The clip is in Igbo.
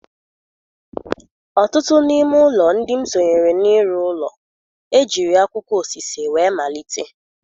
Ọtụtụ n'ime ụlọ ndị m sonyere n'ịrụ ụlọ, ejiri akwụkwọ osise wee malite